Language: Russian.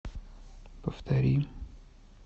повтори